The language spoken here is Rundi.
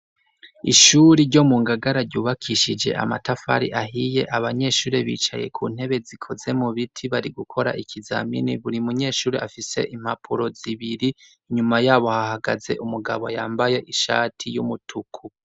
Ishuri ryo mu ngagara ryubakishije amatafari ahiye abanyeshuri bicaye ku ntebe zikoze mu biti bari gukora ikizamini buri munyeshuri afise impapuro zibiri inyuma yabo hahagaze umugabo yambaye ishati y'umutuku.